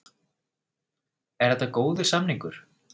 Er þetta góður samningur?